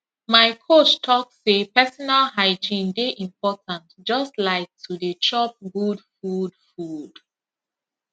my coach talk say personal hygiene dey important just like to dey chop good food food